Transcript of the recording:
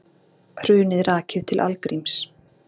Hrunið rakið til algríms